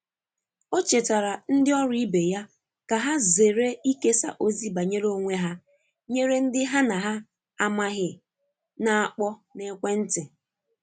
o chetara ndi oru ibe ya ka ha zere ikesa ozi banyere onwe ha nyere ndi ha na amaghi na akpo na ekwe nti